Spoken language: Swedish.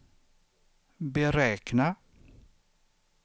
beräkna